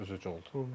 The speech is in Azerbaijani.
Bu biraz üzücü oldu.